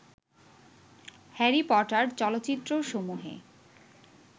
Harry Potter চলচ্চিত্রসমূহে